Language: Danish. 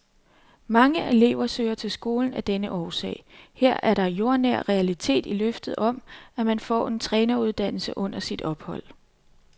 Mange elever søger til skolen af denne årsag, her er der jordnær realitet i løftet om, at man får en træneruddannelse under sit ophold.